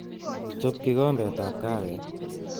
Chob kikombetab kahawek